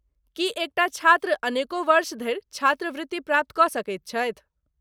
की एक टा छात्र अनेको वर्ष धरि छात्रवृत्ति प्राप्त कऽ सकैत छथि।